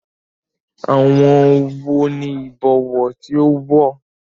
Àwọ̀ wo ni Ìbọwọ́ tí ó wọ̀?